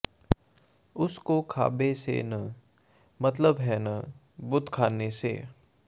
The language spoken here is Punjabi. ਉਸ ਕੋ ਕਾਬੇ ਸੇ ਨ ਮਤਲਬ ਹੈ ਨ ਬੁਤਖ਼ਾਨੇ ਸੇ